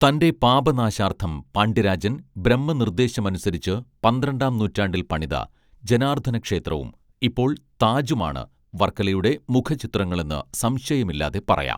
തന്റെ പാപനാശാർത്ഥം പാണ്ഡ്യരാജൻ ബ്രഹ്മനിർദ്ദേശമനുസരിച്ച് പന്ത്രണ്ടാം നൂറ്റാണ്ടിൽ പണിത ജനാർദ്ദനക്ഷേത്രവും ഇപ്പോൾ താജുമാണ് വർക്കലയുടെ മുഖചിത്രങ്ങളെന്നു സംശയമില്ലാതെ പറയാം